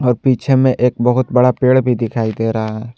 और पीछे में एक बहुत बड़ा पेड़ भी दिखाई दे रहा है।